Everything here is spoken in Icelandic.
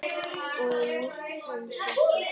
Og nýtti hann sér það.